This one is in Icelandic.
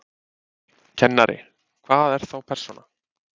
Kennari: Hvað er þá persóna?